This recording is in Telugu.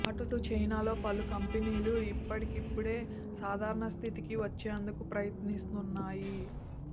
అటు చైనాలో పలుకంపెనీలు ఇప్పుడిప్పుడే సాధారణ స్థితికి వచ్చేందుకు ప్రయత్నిస్తున్నాయి